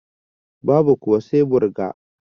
Babu kuwa sai burga